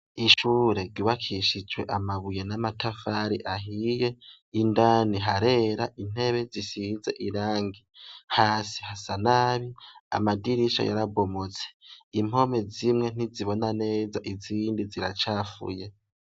Ishure ryubakishijwe amabuye n'amatafari ahiye indani harera, intebe zisize irangi, hasi hasa nabi amadirisha yarabomotse impome zimwe ntizibona neza izindi ziracafuye.